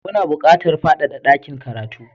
Muna buƙatar fadada dakin karatu